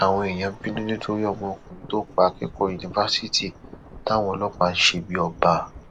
àwọn èèyàn bínú nítorí ọmọkùnrin tó pa akẹkọọ yunifásitì táwọn ọlọpàá ń ṣe bíi ọba